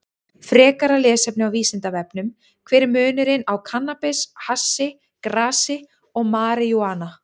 Frekara lesefni á Vísindavefnum: Hver er munurinn á kannabis, hassi, grasi og marijúana?